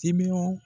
Timinan